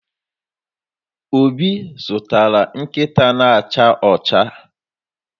Obi zụtara nkịta na-acha ọcha.